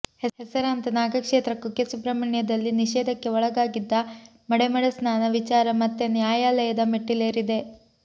ಹೆಸರಾಂತ ನಾಗಕ್ಷೇತ್ರ ಕುಕ್ಕೆ ಸುಬ್ರಹ್ಮಣ್ಯದಲ್ಲಿ ನಿಷೇಧಕ್ಕೆ ಒಳಗಾಗಿದ್ದ ಮಡೆಮಡೆ ಸ್ನಾನ ವಿಚಾರ ಮತ್ತೆ ನ್ಯಾಯಾಲಯದ ಮೆಟ್ಟಿಲೇರಿದೆ